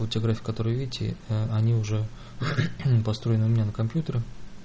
будете играть в которую видите они уже построены у меня на компьютере